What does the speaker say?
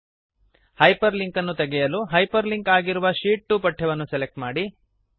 hyper link ಅನ್ನು ತೆಗಿಯಲು hyperlink ಆಗಿರುವ ಶೀಟ್ 2 ಪಠ್ಯವನ್ನು ಸೆಲೆಕ್ಟ್ ಮಾಡಿ